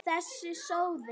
Þessi sóði!